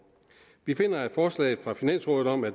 vi finder at forslaget fra finansrådet om at